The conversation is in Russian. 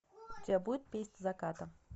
у тебя будет песнь заката